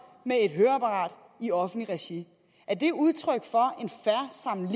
med et høreapparat i offentligt regi er det udtryk for